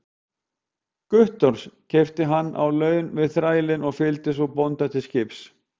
Guttorms, keypti hann á laun við þrælinn og fylgdi svo bónda til skips.